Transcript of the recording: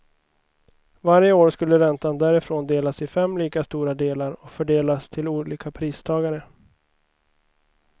Varje år skulle räntan därifrån delas i fem lika stora delar och fördelas till olika pristagare.